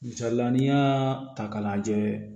Misalila n'i y'a ta k'a lajɛ